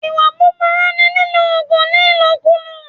Ìwà búbúrú ni lílo òògùn ní ìlòkulò